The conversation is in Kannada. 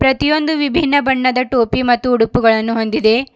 ಪ್ರತಿಯೊಂದು ವಿಭಿನ್ನ ಬಣ್ಣದ ಟೋಪಿ ಮತ್ತು ಉಡುಪುಗಳನ್ನು ಹೊಂದಿದೆ.